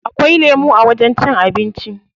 Akwai lemu a wajen cin abinci.